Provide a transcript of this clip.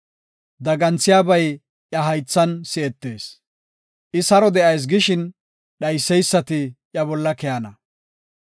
Daganthiyabay iya haythan si7etees; I saro de7ayis gishin dhayseysati iya bolla keyana.